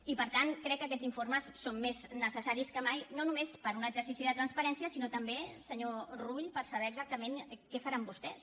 i per tant crec que aquests informes són més necessaris que mai no només per un exercici de transparència sinó també senyor rull per saber exactament què faran vostès